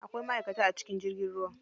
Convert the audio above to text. Akwai maʼaikata a cikin jirgin ruwa.